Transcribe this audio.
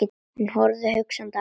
Hún horfði hugsi á hann.